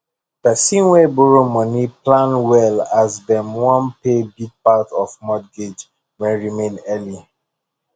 person wey borrow money plan well as dem wan pay big part of mortgage wey remain early